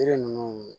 Yiri ninnu